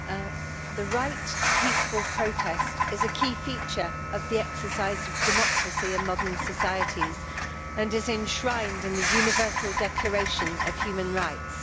Madam President, the right to peaceful protest is a key feature of the exercise of democracy in modern societies, and is enshrined in the Universal Declaration of Human Rights.